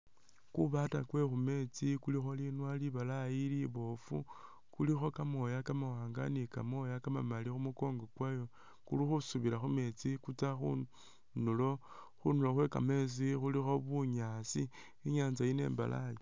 Ku bata kwe khu metsi kulikho linwa libalaayi liboofu, kulikho kamooya kamawanga ni kamooya ka mamali khu mukongo kwayo kuli khusubila khu metsi kutsa khundulo khwe kametsi khulikho bunyaasi, inyatsa yino imbalayi.